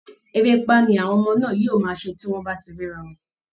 Erépá ni àwọn ọmọ náà yóò máa ṣe bí wọ́n bá ti rí ara wọn